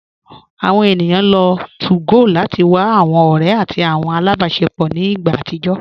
Awọn ènìyàn lọ́ 2gò láti wà awọn ọ̀rẹ̀ àti awọn alábásẹpọ̀ ní ìgbà àtìjọ